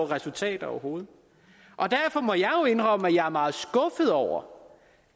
resultater overhovedet og derfor må jeg indrømme at jeg er meget skuffet over